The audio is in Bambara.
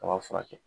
Kaba furakɛ